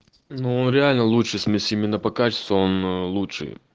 ну реально лучше смесь именно по качеству он лучше